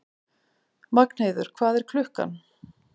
Magnheiður, hvað er klukkan?